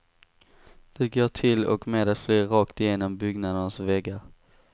Det går till och med att flyga rakt igenom byggnadernas väggar.